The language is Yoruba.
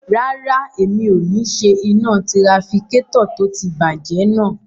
Rárá, mi ò ní ṣe iná tirafikétọ̀ tó ti bàjẹ́ náà